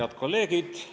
Head kolleegid!